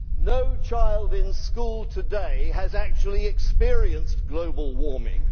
No child in school today has actually experienced global warming.